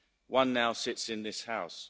One now sits in this House.